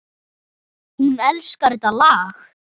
Hún elskar þetta lag!